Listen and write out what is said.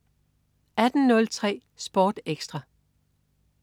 18.03 Sport Ekstra